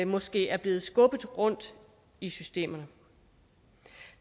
måske er blevet skubbet rundt i systemerne